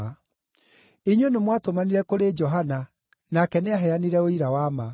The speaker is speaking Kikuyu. “Inyuĩ nĩmwatũmanire kũrĩ Johana, nake nĩaheanire ũira wa ma.